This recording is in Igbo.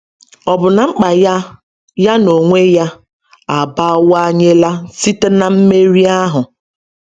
Ọ bụ na mkpa ya ya n’onwe ya abawanyela site n’mmeri ahụ?